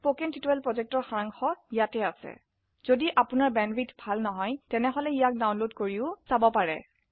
কথন শিক্ষণ প্ৰকল্পৰ সাৰাংশ ইয়াত আছে যদি আপোনাৰ বেন্দৱিথ ভাল নহয় তেনেহলে ইয়াক ডাউনলোড কৰি চাব পাৰে